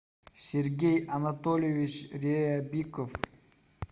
сергей анатольевич ребиков